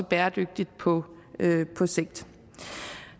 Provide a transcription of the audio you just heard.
bæredygtigt på sigt